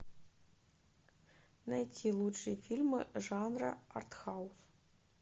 найти лучшие фильмы жанра артхаус